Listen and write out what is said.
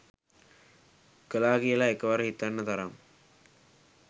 කළා කියලා එකවර හිතන්න තරම්